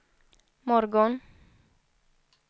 morgon